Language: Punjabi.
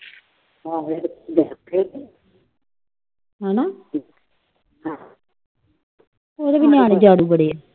ਉਹਦੇ ਵੀ ਨਿਆਨੇ ਜਿਆਦਾ ਬੜੇ ਆ।